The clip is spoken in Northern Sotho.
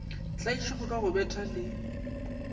tlaišwago ka go bethwa le